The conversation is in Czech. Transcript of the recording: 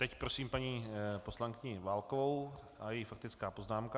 Teď prosím paní poslankyni Válkovou a její faktickou poznámku.